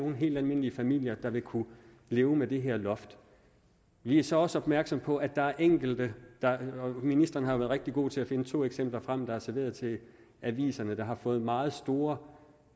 nogen helt almindelige familier der vil kunne leve med det her loft vi er så også opmærksomme på at der er enkelte ministeren har været rigtig god til at finde to eksempler frem der er blevet serveret til aviserne der har fået meget store